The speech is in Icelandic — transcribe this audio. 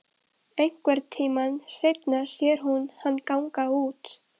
Einhvern tíma seinna sér hún hann ganga út.